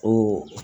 O